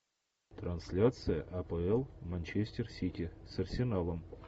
трансляция апл манчестер сити с арсеналом